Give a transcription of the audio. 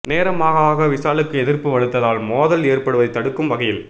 நேரம் ஆக ஆக விஷாலுக்கு எதிர்ப்பு வலுத்ததால் மோதல் ஏற்படுவதை தடுக்கும் வகையில்